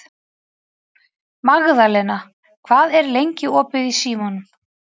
Magðalena, hvað er lengi opið í Símanum?